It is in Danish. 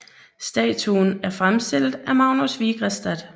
Statuen er fremstillet af Magnus Vigrestad